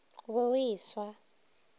o be o e swa